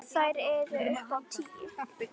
Þær eru upp á tíu.